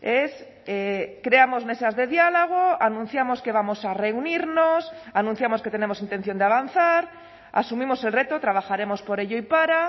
es creamos mesas de diálogo anunciamos que vamos a reunirnos anunciamos que tenemos intención de avanzar asumimos el reto trabajaremos por ello y para